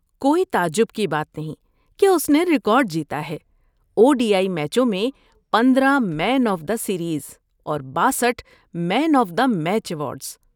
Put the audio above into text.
کوئی تعجب کی بات نہیں کہ اس نے ریکارڈ جیتا ہے، او ڈی آئی میچوں میں پندرہ مین آف دی سیریز اور باسٹھ man of the match awards